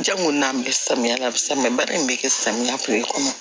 Janko n'an bɛ samiya la bi samiya baara in bɛ kɛ samiya kile kɔnɔ